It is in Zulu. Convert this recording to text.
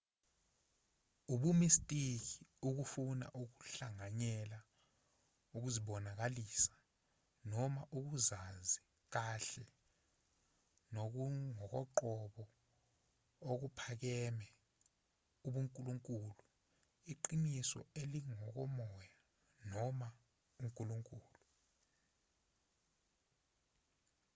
ubumistiki ukufuna ukuhlanganyela ukuzibonakalisa noma ukuzazi kahle nokungokoqobo okuphakeme ubunkulunkulu iqiniso elingokomoya noma unkulunkulu